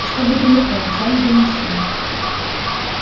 чтобы далеко взяли бы машину